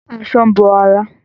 Aṣọ ń bo ara